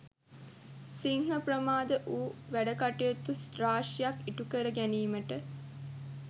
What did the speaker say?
සිංහ ප්‍රමාද වූ වැඩකටයුතු රාශියක් ඉටුකර ගැනීමට